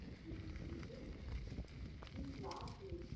কী লাভ হয়েছে?